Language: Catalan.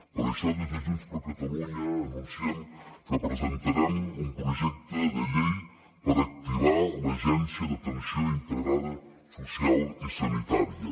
per això des de junts per catalunya anunciem que presentarem un projecte de llei per activar l’agència d’atenció integrada social i sanitària